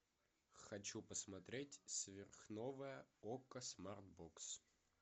хочу посмотреть сверхновая окко смарт бокс